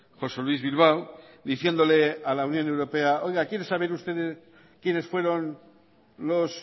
josé luis bilbao diciéndole a la unión europea oiga quieren saber ustedes quienes fueron los